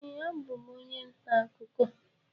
Ee, abụ m onye ntaakụkọ